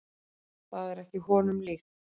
Það er ekki honum líkt.